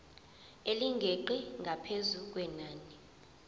elingeqi ngaphezu kwenani